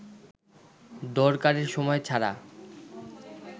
দরকারের সময় ছাড়া